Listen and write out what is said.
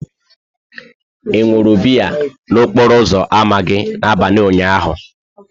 Ị ṅụrụ biya n'okporo ámá gị n'abalị ụnyaahụ?